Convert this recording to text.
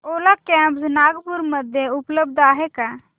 ओला cabs Nagpur मध्ये उपलब्ध आहे का